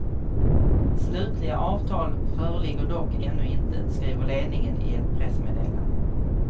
Slutliga avtal föreligger dock ännu inte, skriver ledningen i ett pressmeddelande.